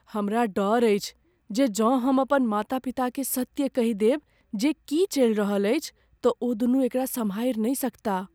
हमरा डर अछि जे जँ हम अपन माता पिताकेँ सत्य कहि देब जे की चलि रहल अछि, तँ ओदुनू एकरा सम्हारि नहि सकताह।